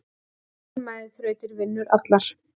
Þolinmæði þrautir vinnur allar.